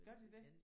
Gør de det?